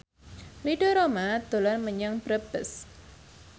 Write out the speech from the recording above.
Ridho Roma dolan menyang Brebes